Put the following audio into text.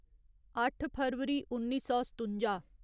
अट्ठ फरवरी उन्नी सौ सतुंजा